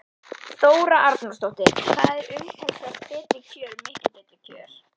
Þóra Arnórsdóttir: Hvað eru umtalsvert betri kjör miklu betri kjör?